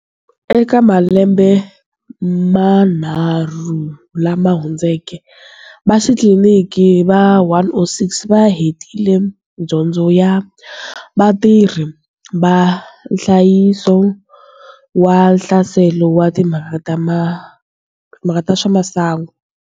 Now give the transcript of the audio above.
Eka malembe manharhu lama hundzeke, vaxitliliniki va 106 va hetile Dyondzo ya Vatirhi va Nhlayiso wa Nhlaselo wa timhaka ta swa masangu.